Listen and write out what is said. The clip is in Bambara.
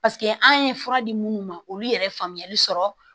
paseke an ye fura di munnu ma olu yɛrɛ faamuyali sɔrɔ